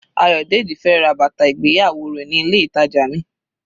Ayodeji fẹ́ ra bàtà ìgbéyàwó rẹ̀ ní ilé ìtàjà mi.